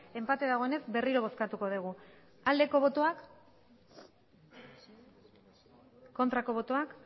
enpate dagoenez berriro bozkatuko dugu aldeko botoak aurkako botoak